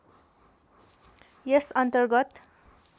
यस अन्तर्गत